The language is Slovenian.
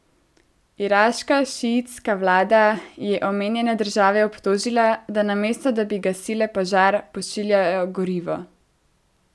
Iraška šiitska vlada je omenjene države obtožila, da namesto da bi gasile požar, pošiljajo gorivo.